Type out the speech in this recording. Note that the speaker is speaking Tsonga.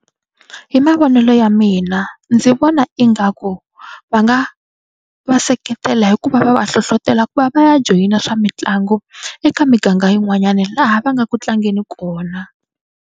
Hi mavonelo ya mina ndzi vona ingaku va nga va seketela hikuva va va hlohlotela ku va va ya joyina swa mitlangu eka miganga yin'wanyani laha va nga ku tlangeni kona.